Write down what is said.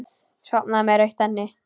Sofnaði með rautt enni.